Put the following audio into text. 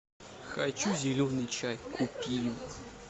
хочу зеленый чай купи